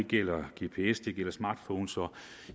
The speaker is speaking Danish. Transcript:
gælder gps det gælder smartphones og